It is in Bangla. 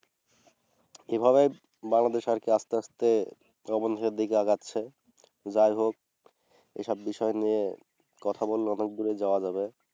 এভাবে বাংলাদেশে আর কি আস্তে আস্তে দিকে আগাচ্ছে। যাই হোক । এসব বিষয় নিয়ে কথা বললে অনেক দূরে যাওয়া যাবে।